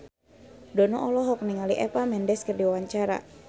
Dono olohok ningali Eva Mendes keur diwawancara